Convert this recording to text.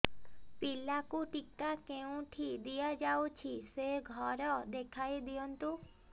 ପିଲାକୁ ଟିକା କେଉଁଠି ଦିଆଯାଉଛି ସେ ଘର ଦେଖାଇ ଦିଅନ୍ତୁ